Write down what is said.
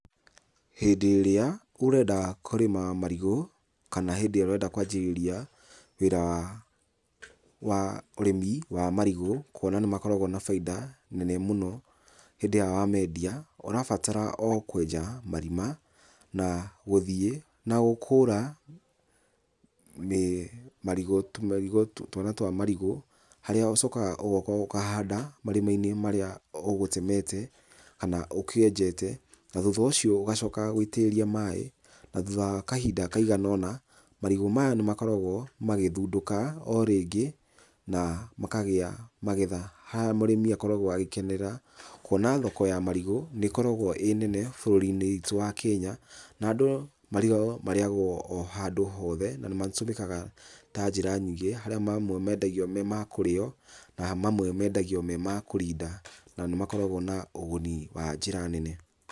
Hĩndĩ ĩrĩa ũrenda kũrĩma marigũ kana hĩndĩ ĩrĩa ũrenda kwanjĩrĩria wĩra wa wa ũrĩmi wa marigũ, kũona nĩ makoragwo na bainda nene mũno hĩndĩ ĩrĩa wa mendia, ũrabatara o kwenja marima na gũthiĩ na gũkũra marigũ tũmarigũ, twana twa marigũ, harĩa ũcokaga ũgoka ũkahanda marima-inĩ marĩa ũgũtemete, kana ũkĩenjete. Na thutha ũcio ũgacokaga gũitĩrĩria maaĩ, na thutha wa kahinda kaigana ũna, marigũ maya nĩ makoragwo magĩthundũka o rĩngĩ na makagĩa magetha harĩa mũrĩmi akoragwo agĩkenera. Kũona thoka ya marigũ nĩ ĩkoragwo ĩ nene bũrũri-inĩ witũ wa Kenya, na andũ, marigũ marĩagwo o handũ hothe na nĩ matũmĩkaga ta njĩra nyingĩ, harĩa mamwe mendagio me ma kũrĩo na mamwe mendagio me ma kũrinda, na nĩ makoragwo na ũguni wa njĩra nene.